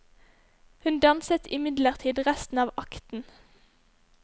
Hun danset imidlertid resten av akten.